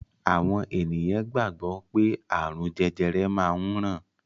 Àwọn ènìyàn gbàgbọ́ pé ààrùn jẹjẹrẹ máa ń ràn